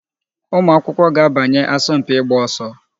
Ụmụakwụkwọ ga-abanye asọmpị ịgba ọsọ